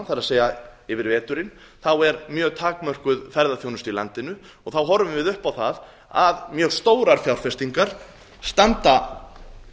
það er yfir veturinn þá er mjög takmörkuð ferðaþjónusta í landinu og þá horfum við upp á það að mjög stórar fjárfestingar standa